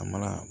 A mana